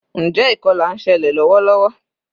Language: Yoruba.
Njé ìkolà nselè lówó lówó?